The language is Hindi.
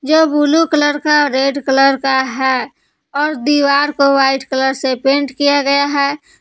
यह ब्लू कलर का रेड कलर का है और दीवार को वाइट कलर से पेंट किया गया है।